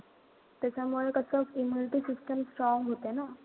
त्याच्यामुळे कसं immunity system strong होते ना.